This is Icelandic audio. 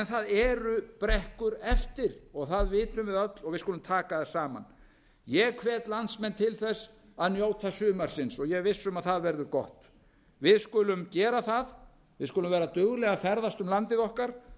það eru brekkur eftir og það vitum við öll og við skulum taka það saman ég hvet landsmenn til þess að njóta sumarsins ég er viss um að það verður gott við skulum gera það við skulum vera dugleg að ferðast um landið okkar